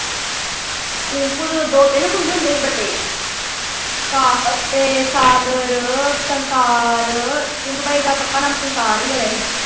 tinku ਤੋਂ ਤਾਂ ਦੋ ਤਿੰਨ ਮੁੰਡੇ ਹੁੰਦੇ ਸੀ ਵੱਡੇ ਤੇ ਸਾਗਰ ਤੇ ਸੰਸਾਰ tinku ਭਾਈ ਦਾ ਪੱਕਾ ਨਾਂ ਸੰਸਾਰ ਹੀ ਹੈ ਵੈਸੇ।